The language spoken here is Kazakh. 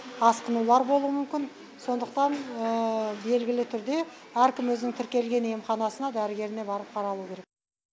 асқынулар болуы мүмкін сондықтан белгілі түрде әркім өзінің тіркелген емханасына дәрігеріне барып қаралуы керек